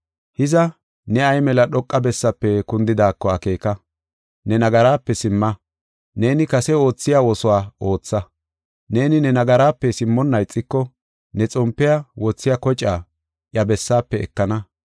Hiza, ne ay mela dhoqa bessaafe kundidaako akeeka! Ne nagaraape simma; neeni kase oothiya oosuwa ootha. Neeni ne nagaraape simmonna ixiko, ne xompe wothiya kocaa iya bessaafe ekana.